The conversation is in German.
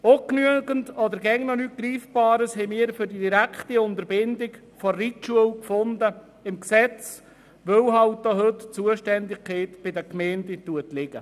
Ungenügendes oder noch immer nichts Greifbares haben wir im Gesetz zur direkten Unterbindung der Reitschule gefunden, weil eben auch heute noch die Zuständigkeit bei den Gemeinden liegt.